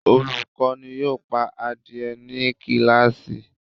Olukọni yoo pa adie ni kilasi